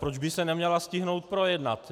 Proč by se neměla stihnout projednat?